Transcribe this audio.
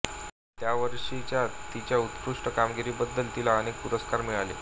त्यावर्षीच्या तिच्या उत्कृष्ट कामगिरीबद्दल तिला अनेक पुरस्कार मिळाले